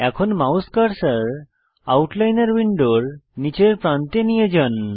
এখন mouse cursor আউটলাইনর উইন্ডোর নীচের প্রান্তে নিয়ে যান